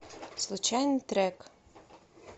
случайный трек